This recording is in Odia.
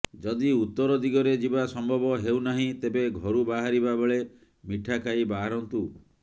ଯଦି ଉତ୍ତର ଦିଗରେ ଯିବା ସମ୍ଭବ ହେଉନାହିଁ ତେବେ ଘରୁ ବାହାରିବା ବେଳେ ମିଠା ଖାଇ ବାହାରନ୍ତୁ